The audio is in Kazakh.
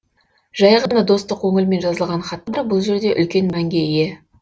жай ғана достық көңілмен жазылған хаттар бұл жерде үлкен мәнге ие